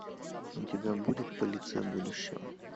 у тебя будет полиция будущего